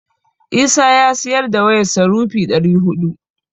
Isa ya siyar da wayarsa rupee ɗari huɗu.